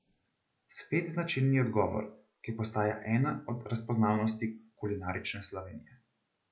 Spet značilni odgovor, ki postaja ena od razpoznavnosti kulinarične Slovenije.